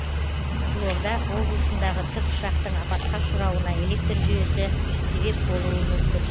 қызылорда облысындағы тікұшақтың апатқа ұшырауына электр жүйесі себеп болуы мүмкін